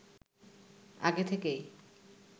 আগে থেকেই